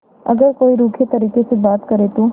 अगर कोई रूखे तरीके से बात करे तो